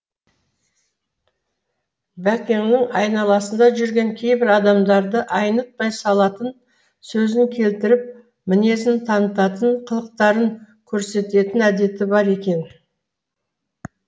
бәкеңнің айналасында жүрген кейбір адамдарды айнытпай салатын сөзін келтіріп мінезін танытатын қылықтарын көрсететін әдеті бар екен